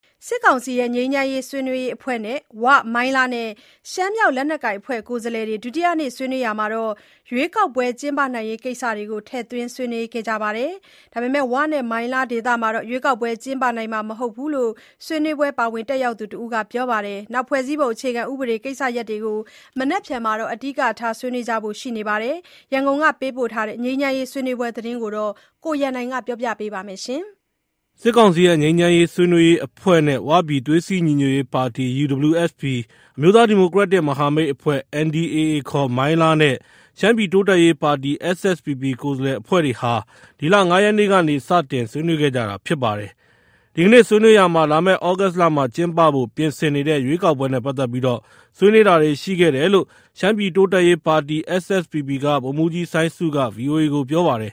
စစ်ကောင်စီရဲ့ငြိမ်းချမ်းရေးဆွေးနွေးရေးအဖွဲ့နဲ့ ဝ ၊ မိုင်းလားနဲ့ ရှမ်းမြောက် လက်နက်ကိုင်အဖွဲ့တို့က ကိုယ်စားလှယ်တွေ ဒုတိယနေ့ ဆွေးနွေးရာမှာ ရွေးကောက်ပွဲကျင်းပနိုင်ရေးကိစ္စတွေ ထည့်သွင်းဆွေးနွေးခဲ့ကြပြီး ဝနဲ့ မိုင်းလားဒေသမှာတော့ ရွေးကောက်ပွဲကျင်းပနိုင်မှာမဟုတ်ဘူးလို့ ဆွေးနွေးပွဲ ပါဝင်တက်ရောက်သူတဦးက ပြောပါတယ်။ ဖွဲ့စည်းပုံအခြေခံဥပဒေကိစ္စရပ်တွေကို မနက်ဖြန်မှာ အဓိကထား ဆွေးနွေးကြဖို့ ရှိနေပါတယ်။ ရန်ကုန်ကပေးပို့တဲ့ ငြိမ်းချမ်းရေးဆွေးနွေးပွဲသတင်းကို ကိုရန်နိုင်က တင်ပြထားပါတယ်။ စစ်ကောင်စီရဲ့ငြိမ်းချမ်းရေးဆွေးနွေးရေးအဖွဲ့နဲ့ ဝပြည်သွေးစည်းညီညွတ်ရေးပါတီ UWSP ၊ အမျိုးသားဒီမိုကရက်တစ် မဟာမိတ်အဖွဲ့ NDAA ခေါ် မိုင်းလားနဲ့ရှမ်းပြည်တိုးတက်ရေးပါတီ SSPP ကိုယ်စားလှယ်အဖွဲ့တွေဟာ ဒီလ ၅ ရက်နေ့ကနေ စတင်ဆွေးနွေးခဲ့ကြတာဖြစ်ပါတယ်။ ဒီကနေ့ ဆွေးနွေးရာမှာ လာမယ့် သြဂုတ်လမှာ ကျင်းပဖို့ပြင်ဆင်နေတဲ့ ရွေးကောက်ပွဲနဲ့ပတ်သက်ပြီး ဆွေးနွေးတာတွေ ရှိခဲ့တယ်လို့ ရှမ်းပြည်တိုးတက်ရေးပါတီ SSPP က ဗိုလ်မှူးကြီး စိုင်းဆုက VOA ကို ပြောပါတယ်